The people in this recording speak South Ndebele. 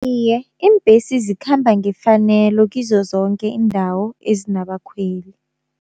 Iye, iimbesi zikhamba ngefanelo kizo zonke iindawo ezinabakhweli.